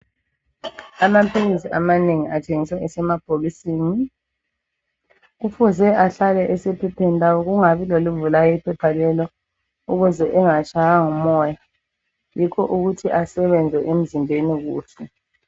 Amaphilisi amanengi athengiswa esemabhokisini kufuze ahlale esephepheni lawo kungabi lolivulayo iphepha lelo ukuze engatshaywa ngumoya yikho ukuthi asebenze emzimbeni kuhle.